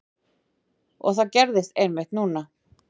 Og það gerðist einmitt núna.